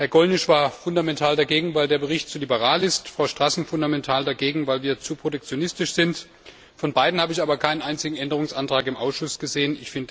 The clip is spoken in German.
Herr Gollnisch war fundamental dagegen, weil der Bericht zu liberal ist, Frau Stassen fundamental dagegen, weil wir zu protektionistisch sind von beiden habe ich aber keinen einzigen Änderungsantrag im Ausschuss gesehen.